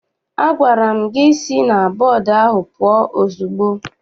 Agwara m gị si na bọọdụ ahụ pụọ ozugbo!